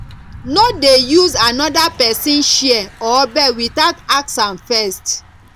no dey use another person chair or bed without ask am first